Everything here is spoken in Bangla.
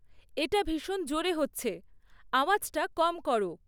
এটা ভীষণ জোরে হচ্ছে, আওয়াজটা কম করো